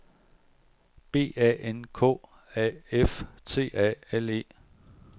B A N K A F T A L E